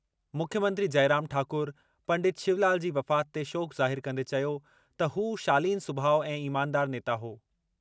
मुख्यमंत्री जयराम ठाकुर पंडित शिवलाल जी वफ़ात ते शोक ज़ाहिर कंदे चयो त हू शालीन सुभाउ ऐं ईमानदार नेता हो।